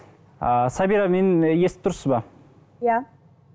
ыыы сабира мені естіп тұрсыз ба иә